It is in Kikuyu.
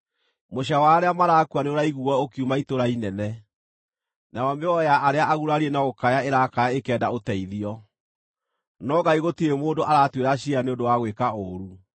Mũcaayo wa arĩa marakua nĩũraiguuo ũkiuma itũũra inene, nayo mĩoyo ya arĩa agurarie no gũkaya ĩrakaya ĩkĩenda ũteithio. No Ngai gũtirĩ mũndũ aratuĩra ciira nĩ ũndũ wa gwĩka ũũru.